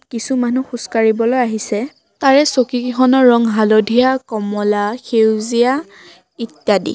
কিছুমানুহ খোজকাঢ়িবলৈ আহিছে তাৰে চকীকেইখনৰ ৰং হালধীয়া কমলা সেউজীয়া ইত্যাদি।